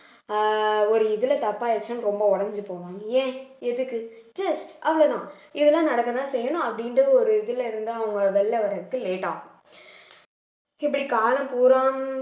அஹ் ஒரு இதுல தப்பாயிருச்சுன்னு ரொம்ப உடைஞ்சு போவாங் ஏன் எதுக்கு just அவ்வளவுதான் இதெல்லாம் நடக்கதான் செய்யணும் அப்படின்ற ஒரு இதுல இருந்து அவங்க வெளியில வர்றதுக்கு late ஆகும் இப்படி காலம்பூராம்